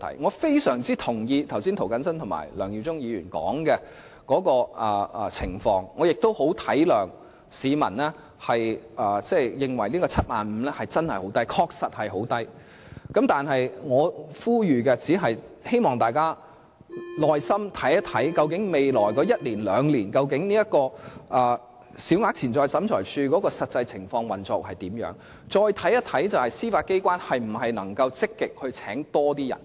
我非常同意剛才涂謹申議員和梁耀忠議員提述的情況，也很體諒市民認為 75,000 元的限額過低，而這限額亦確實很低，但我只想呼籲大家在未來一兩年，耐心留意審裁處的實際運作情況，以及司法機構會否積極增聘人手。